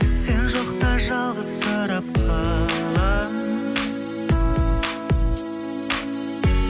сен жоқта жалғызсырап қаламын